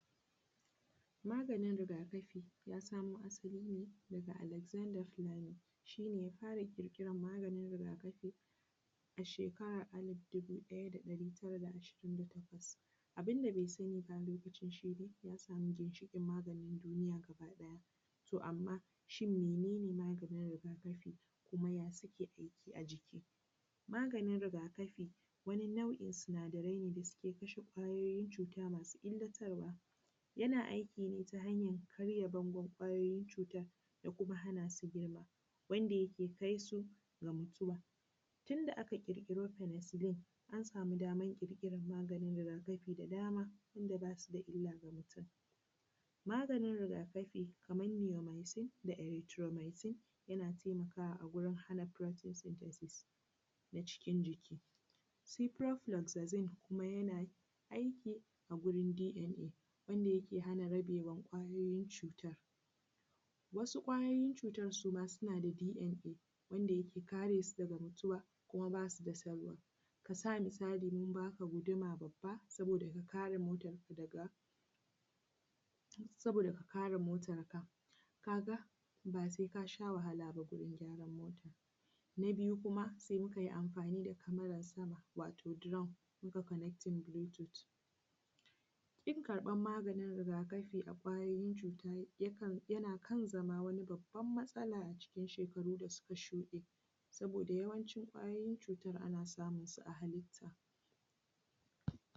Maganin rigakafi yasamo asaline, daga Alexander fleming. Shine yafara ƙirkirar maganin rigakafi, a shekarar alif dubu ɗaya da ɗari tara da ashirin da takwas. Abunda be sani ba alokacin shine, ya samu ginshiƙin maganin duniya gabaɗaya. To amma shin menene maganin rigakafi? kuma ya suke aiki ajiki? maganin rigakafi, wasu nau’i sinadaraine wadanda suke kashe kwayoyin cuta masu illatarwa. Yana aikine ta hanyar karya bangon kwayoyin cutar da kuma hanasu girma, wanda yake kaisu ga mutuwa. Tunda aka ƙirƙiro penicillin, ansama damar ƙirƙirar maganin rigakafi da dama tunda basu da illa ga mutum. Maganin rigakafi, kaman nioycin da itroymicin, yana temakawa agurin enaprotec sythesis na cikin jiki. Ciprofloxacin, kuma yana aiki agurin DNA, wanda yake hana rabewan kwayoyin cutar. Wasu ƙwayoyin cutar suma suna da DNA, wanda yake karesu daga mutuwa. Kuma basu da salwa, kasa misali mun baka guduma babba saboda ka kare motarku daga, saboda kakare motar ka. Kaga base kasha wahalaba, wurin gyaran motar. Na biyu, kuma se mukai amfani da camerar sama wato drone, mukai connecting Bluetooth. Kin karbar maganin rigakafi ga kwayoyin cuta, yakan yana zama wani babban matsala, acikin shekaru dasuka shuɗe. saboda yawancin kwayoyin cutar ana samunsu a halitta.